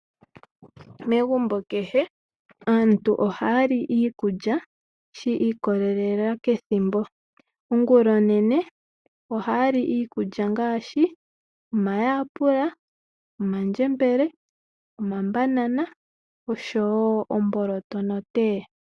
Megumbo kehe aantu ohaya li iikulya shi ikolela kethimbo. Ongulonene ohaya li iikulya ngaashi omayapula, omandjembele, omabanana oshowo omboloto notee.